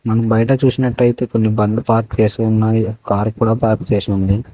బయట చూసినట్లయితే కొన్ని బండ్లు పార్కు చేసి ఉన్నాయి కారు కూడా పార్క్ చేసి ఉంది.